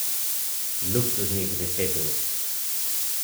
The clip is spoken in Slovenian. Luksuznih deset ur.